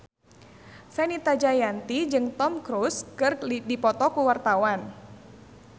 Fenita Jayanti jeung Tom Cruise keur dipoto ku wartawan